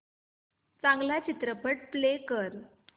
चांगला चित्रपट प्ले कर